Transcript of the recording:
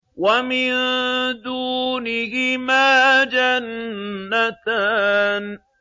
وَمِن دُونِهِمَا جَنَّتَانِ